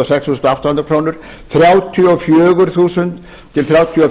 og sex þúsund átta hundruð krónur til patreksfjarðar þrjátíu og fjögur til þrjátíu og fimm þúsund krónur til